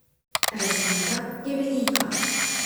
Razlika je velika.